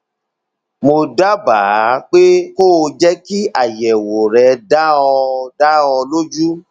mo dábàá pé kó o jẹ kí àyẹwò rẹ dá ọ dá ọ lójú